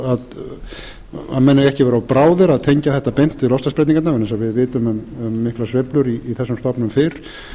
bráðir að tengja þetta beint við loftslagsbreytingarnar vegna þess að við vitum um miklar sveiflur í þessum stofnum fyrr